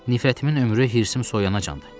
Nifrətimin ömrü hirsim soyuyanacandır.